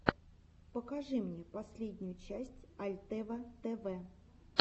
покажи мне последнюю серию альтева тэвэ